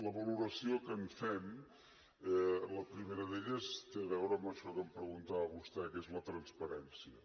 la valoració que en fem la primera d’elles té a veure amb això que em preguntava vostè que és la transparència